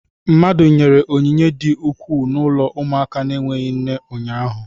Mmadụ nyere onyinye di ukwuu n'ụlọ ụmụaka na-enweghị nne ụnyaahụ.